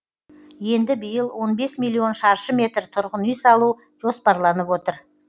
енді биыл он бес миллион шаршы метр тұрғын үй салу жоспарланып отыр